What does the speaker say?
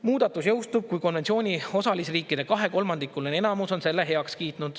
Muudatus jõustub, kui konventsiooni osalisriikide kahekolmandikuline enamus on selle heaks kiitnud.